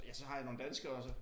Ja så har jeg nogle danskere også